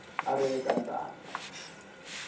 a a ri eka ntangha